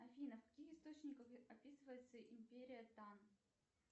афина в каких источниках описывается империя тан